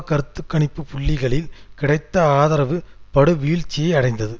கருத்து கணிப்பு புள்ளிகளில் கிடைத்த ஆதரவு படுவீழ்ச்சியை அடைந்தது